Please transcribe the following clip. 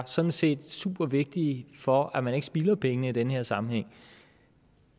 sådan set er supervigtige for at man ikke spilder pengene i den her sammenhæng